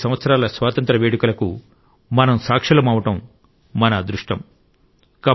75 సంవత్సరాల స్వాతంత్ర్య వేడుకలకు మనం సాక్షులమవ్వడం మన అదృష్టం